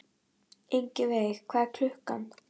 Ingiveig, hvað er klukkan?